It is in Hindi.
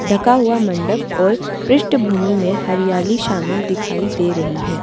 ढका हुआ मंडप और पृष्ठभूमि में हरियाली शामिल दिखाई दे रही है।